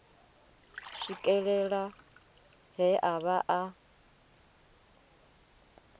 swikelela he a vha a